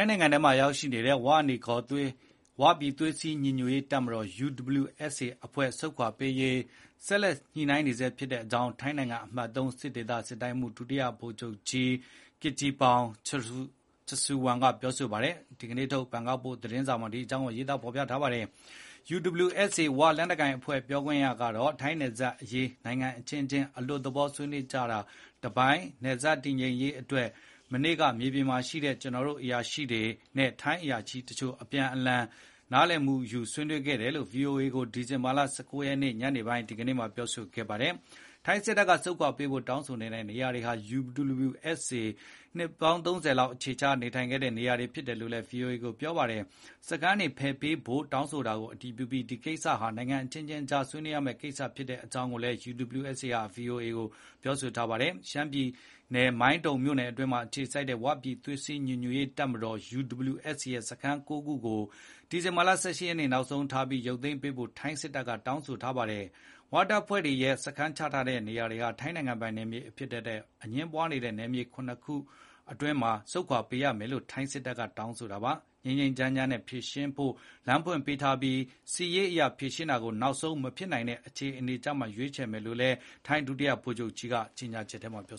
ုင်းနယ်ထဲမှာရောက်နေတဲ့ ဝနီခေါ် ဝပြည်သွေးစည်းညီညွတ်ရေးတပ်မတော် UWSA အဖွဲ့တွေ ဆုတ်ခွာရေး ဆက်ပြီး စေ့စပ်ညှိနှိုင်းနေဆဲဖြစ်ကြောင်း ထိုင်းနိုင်ငံ အမှတ် ၃ ဒေသ စစ်တိုင်းမှူး ဒုတိယ ဗိုလ်ချုပ်ကြီး Kittipong Jamsuwan ပြောဆိုတာကို ဒီနေ့ထုတ် ဘန်ကောက်ပို့စ် သတင်းစာမှာ ရေးသားထားပါတယ်။ USWA ဝ လက်နက်ကိုင်အဖွဲ့ ပြောခွင့်ရကတော့ "ထိုင်းနယ်စပ်အရေး နိုင်ငံအချင်းချင်း အလွတ် သဘော ဆွေးနွေးကြတာတပိုင်းပေါ့။ နယ်စပ်တည်ငြိမ်ရေးတွေအတွက် မနေ့က မြေပြင်မှာရှိကြတဲ့ ကျနော်တို့အရာရှိငယ်တချို့နဲ့ ထိုင်းဘက်ကအရာရှိတချို့တွေ့ဆုံကြပြီး အပြန်အလှန်နားလည်မှ ုယူကြတာရှိပါတယ်” လို့ VOA ကို ဒီဇင်ဘာလ ၁၉ ရက်နေ့ ဒီကနေ့မှာ ပြောပါတယ်။ ထိုင်းစစ်တပ်က ဆုတ်ခွာပေးဖို့ တောင်းဆိုတဲ့နေရာတွေဟာ UWSA နှစ်ပေါင်း သုံးဆယ်လောက် အခြေချနေထိုင်ခဲ့တဲ့ နေရာဖြစ်တယ်လို့ VOA ကို ပြောထားပါတယ်။ စခန်းတွေ ဖယ်ပေးဖို့ တောင်းဆိုတာကို အတည်ပြုပြီး ဒီကိစ္စဟာ နိုင်ငံအချင်းချင်း ဆွေးနွေးရမယ့်ကိစ္စဖြစ်ကြောင်းလည်း VOA ကို ပြောဆိုပါတယ်။ ရှမ်းပြည်နယ် မိုင်းတုံမြို့နယ်အတွင်းမှာ အခြေစိုက်တဲ့ ဝပြည်သွေးစည်းညီညွတ်ရေးတပ်မတော် UWSA ရဲ့ စခန်း ၉ ခုကို ဒီဇင်ဘာ ၁၈ ရက်နေ့ နောက်ဆုံးထားပြီး ရုပ်သိမ်းပေးဖို့ ထိုင်းစစ်တပ်က တောင်းဆိုခဲ့ပါတယ်။ ဝ တပ်ဖွဲ့တွေရဲ့ စခန်းချထားတဲ့နေရာတွေဟာ ထိုင်းနိုင်ငံပိုင်နယ်အဖြစ် အငြင်းပွားနေတဲ့ နယ်မြေ ၇ ခုမှာ ဖြစ်တဲ့အတွက် ဆုတ်ခွာပေးရမယ်လို့ ထိုင်းစစ်တပ်က တောင်းဆို ထားပါတယ်။ ငြိမ်းငြိမ်းချမ်းချမ်းနဲ့ ဖြေရှင်းဖို့ လမ်းဖွင့်ပေးထားပြီး စစ်ရေးအရ ဖြေရှင်းတာကို နောက်ဆုံး မဖြစ်နိုင်တဲ့အခြေအနေမှ ရွေးချယ်မှာဖြစ်တယ်လို့လည်း ထိုင်း ဒုတိယ ဗိုလ်ချုပ်ကြီးက ကြေညာချက်ထုတ်ပြ